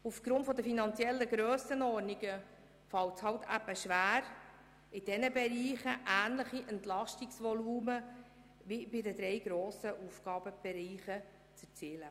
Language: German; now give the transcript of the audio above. Aufgrund der finanziellen Grössenordnungen fällt es schwer, ähnliche Entlastungsvolumen wie in den drei grossen Bereichen zu erzielen.